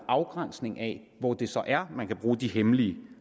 afgrænsning af hvor det så er man kan bruge de hemmelige